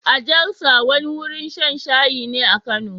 A Jalsa, wani wurin shan shayi ne a Kano